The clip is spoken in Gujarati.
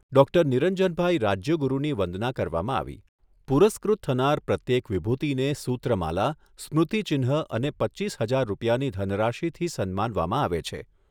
ડૉક્ટર નિરંજનભાઈ રાજ્યગુરની વંદના કરવામાં આવી. પુરસ્કૃત થનાર પ્રત્યેક વિભૂતિને સૂત્ર માલા સ્મૃતિચિન્હ અને પચ્ચીસ હજાર રૂપિયાની ધનરાશિથી સન્માનવામાં આવે છે.